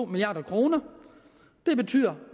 milliard kroner det betyder